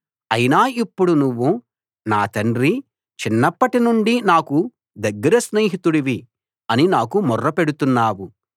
అయినా ఇప్పుడు నువ్వు నా తండ్రీ చిన్నప్పటి నుండి నాకు దగ్గర స్నేహితుడివి అని నాకు మొర పెడుతున్నావు